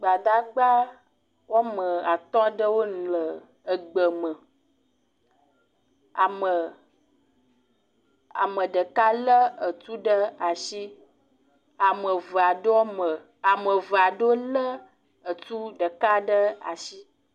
Gbadagba woame atɔ̃ aɖewo le egbe me. Ame… ame ɖeka lé etu ɖe asi, ame eve aɖewo me… ame eve aɖewo lé etu ɖeka ɖe asi.